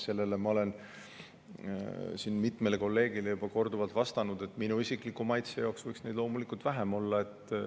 Selle kohta ma olen mitmele kolleegile juba korduvalt vastanud, et minu isikliku maitse jaoks võiks neid loomulikult vähem olla.